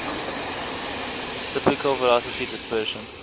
typical velocity dispersion